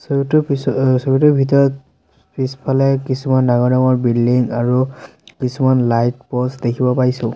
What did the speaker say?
ছবিটোৰ পিছ অ ছবিটোৰ ভিতৰত পিছফালে কিছুমান ডাঙৰ ডাঙৰ বিল্ডিং আৰু কিছুমান লাইট প'ষ্ট দেখিব পাইছোঁ।